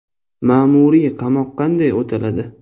Ma’muriy qamoq qanday o‘taladi?.